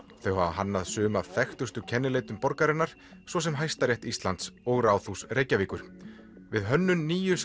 þau hafa hannað sum af þekktustu kennileitum borgarinnar svo sem Hæstarétt Íslands og Ráðhús Reykjavíkur við hönnun nýju